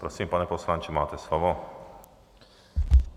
Prosím, pane poslanče, máte slovo.